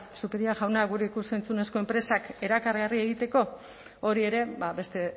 zupiria jauna gure ikus entzunezko enpresak erakargarri egiteko hori ere beste